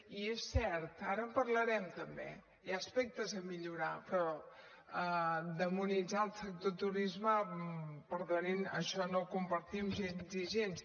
i és cert ara en parlarem també hi ha aspectes a millorar però demonitzar el sector turisme perdonin això no ho compartim gens ni gens